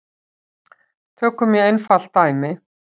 Tökum mjög einfalt dæmi.